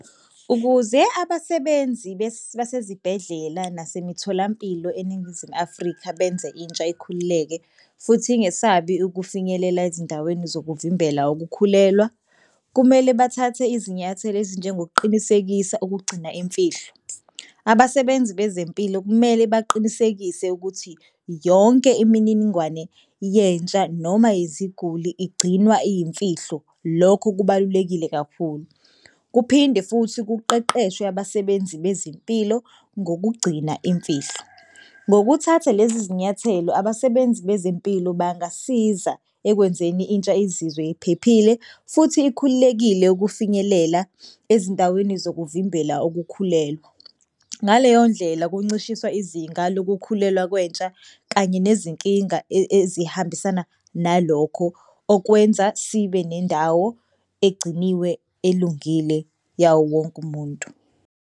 Ukuze abasebenzi basezibhedlela nasemtholampilo eNingizimu Afrika benze intsha ikhululeke futhi ingesabi ukufinyelela ezindaweni zokuvimbela ukukhulelwa, kumele bathathe izinyathelo ezinjengokuqinisekisa ukugcina imfihlo. Abasebenzi bezempilo kumele baqinisekise ukuthi yonke imininingwane yentsha noma iziguli igcinwa iyimfihlo. Lokho kubalulekile kakhulu. Kuphinde futhi kuqeqeshwe abasebenzi bezempilo ngokugcina imfihlo. Ngokuthatha lezi zinyathelo abasebenzi bezempilo bangasiza ekwenzeni intsha izizwe iphephile futhi ikhululekile ukufinyelela ezindaweni zokuvimbela ukukhulelwa. Ngaleyo ndlela kuncishiswa izinga lokukhulelwa kwentsha kanye nezinkinga ezihambisana nalokho okwenza sibe nendawo egciniwe elungile yawo wonke umuntu.